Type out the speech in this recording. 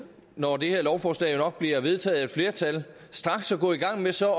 når det her lovforslag jo nok bliver vedtaget af et flertal straks at gå i gang med så at